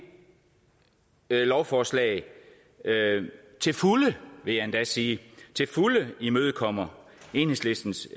lovforslag til fulde vil jeg endda sige imødekommer enhedslistens